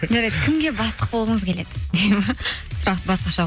жарайды кімге бастық болғыңыз келеді дейді ме сұрақты басқаша